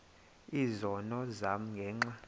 izono zam ngenxa